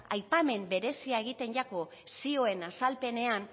aipamen berezia egiten zaio zioen azalpenean